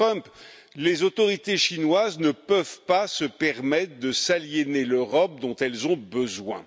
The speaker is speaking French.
Trump, les autorités chinoises ne peuvent pas se permettre de s'aliéner l'Europe dont elles ont besoin.